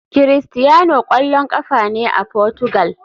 Cristiano kwallon kafa ne a Portugal.